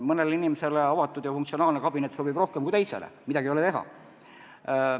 Mõnele inimesele avatud ja funktsionaalne kabinet sobib rohkem kui teisele, midagi ei ole teha.